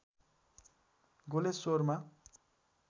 गलेश्वरमा